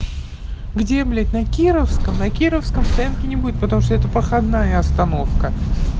где блять на кировском на кировском в центре не будет потому что это проходная остановка